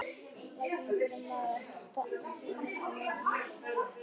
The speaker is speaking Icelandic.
Valdimar: Verður maður ekki að stefna að því fyrst maður er kominn svona nálægt þessu?